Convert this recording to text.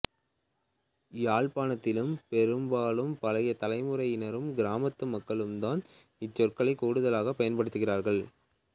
யாழ்ப்பாணத்திலும் பெரும்பாலும் பழைய தலைமுறையினரும் கிராமத்து மக்களும்தான் இச் சொற்களைக் கூடுதலாகப் பயன்படுத்துகிறார்கள்